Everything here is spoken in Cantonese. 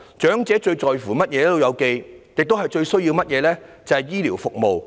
"老友記"最在乎和最需要的是醫療服務。